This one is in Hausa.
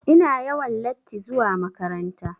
Ina yawan latti zuwa makaranta.